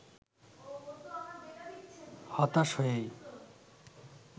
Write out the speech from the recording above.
হতাশ হয়েই